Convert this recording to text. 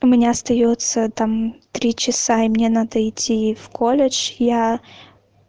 у меня остаётся там три часа и мне надо идти в колледж я